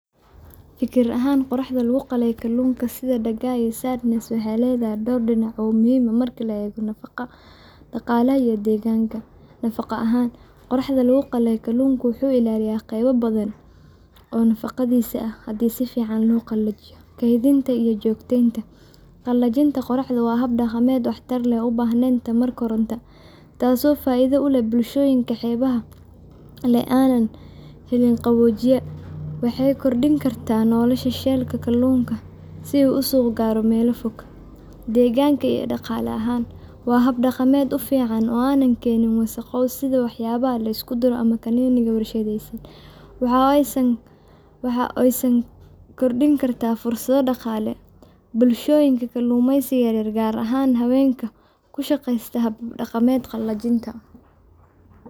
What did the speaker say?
Fikrad ahaan, qoraxda lagu qalay kalluunka sida Daagaa iyo Sardines waxay leedahay dhowr dhinac oo muhiim ah marka la eego nafaqo, dhaqaalaha, iyo deegaanka: Nafaqo ahaan. Qoraxda lagu qalay kalluunka wuxuu ilaaliyaa qayb badan oo nafaqadiisa ah, haddii si fiican loo qalajiyo. Kaydinta iyo joogteynta .Qalajinta qoraxda waa hab dhaqameed waxtar leh oo aan u baahnayn tamar koronto, taas oo faa’iido u leh bulshooyinka xeebaha leh ee aan helin qaboojiye. Waxay kordhin kartaa nolosha shelf-ga kalluunka si uu suuq u gaaro meelo fog. Deegaanka iyo dhaqaale ahaan. Waa hab deegaanka u fiican oo aan keenin wasakhow sida waxyaabaha la isku duro ama canning-ka warshadaysan. Waxa kale oo ay siin kartaa fursado dhaqaale bulshooyinka kalluumaysiga yar yar, gaar ahaan haweenka ku shaqeysta habab dhaqameedka qalajinta.